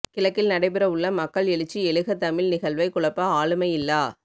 கிழக்கில் நடைபெற உள்ள மக்கள் எழுச்சி எழுக தமிழ் நிகழ்வை குழப்ப ஆளுமையில்லா